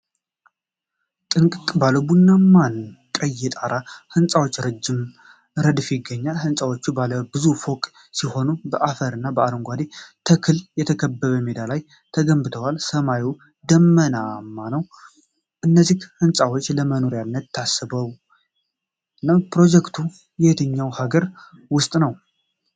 ጥንቅቅ ባለ ቡናማና ቀይ የጣራ ህንጻዎች ረጅም ረድፍ ይገኛል። ህንጻዎቹ ባለ ብዙ ፎቅ ሲሆኑ፣ በአፈርና በአረንጓዴ ተክሎች በተከበበ ሜዳ ላይ ተገንብተዋል። ሰማዩ ደመናማ ነው። እነዚህ ህንጻዎች ለመኖሪያነት ታስበው ነው? ፕሮጀክቱ በየትኛው ሀገር ውስጥ ነው?